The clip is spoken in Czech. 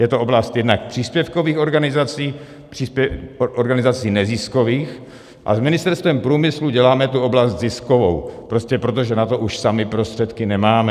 Je to oblast jednak příspěvkových organizací, organizací neziskových, a s Ministerstvem průmyslu děláme tu oblast ziskovou, prostě protože na to už sami prostředky nemáme.